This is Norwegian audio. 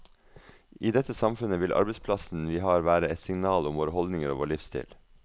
I dette samfunnet vil arbeidsplassen vi har være et signal om våre holdninger og vår livsstil.